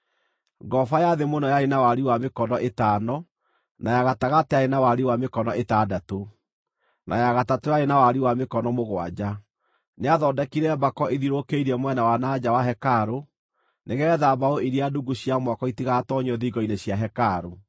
Ngoroba ya thĩ mũno yarĩ na wariĩ wa mĩkono ĩtano, na ya gatagatĩ yarĩ na wariĩ wa mĩkono ĩtandatũ, na ya gatatũ yarĩ na wariĩ wa mĩkono mũgwanja. Nĩathondekire mbako ithiũrũrũkĩirie mwena wa na nja wa hekarũ, nĩgeetha mbaũ iria ndungu cia mwako itigatoonyio thingo-inĩ cia hekarũ.